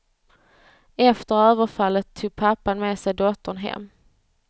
Efter överfallet tog pappan med sig dottern hem.